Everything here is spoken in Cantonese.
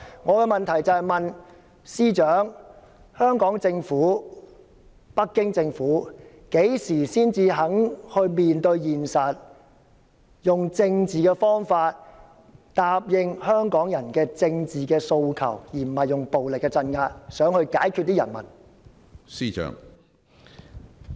我的急切質詢是，司長、香港政府和北京政府何時才肯面對現實，用政治方法答應香港人的政治訴求，而不是用暴力鎮壓來解決人民？